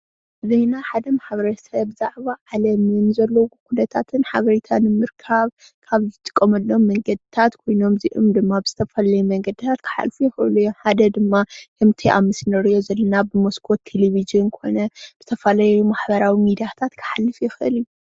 ዜና ሓደ ማሕበረሰብ ብዛዕባ ዓለም ዘለዎ ኩነታትን ሓበሬታ ንምርካብ ካብ ዝጥቀመሎም መንገዲታት ኮይኖም እዚኦም ድማ ብዝተፈላለየ መንገዲ ክሓልፉ ይክእሉ እዮም፣ ሓደ ድማ ከምቲ ኣብ ምስሊ እንሪኦ ዘለና ብመስኮት ተለቪዥን ዝተፈላለየ ማሕበራዊ ሚድያታት ክሓልፍ ይክእል እዩ፡፡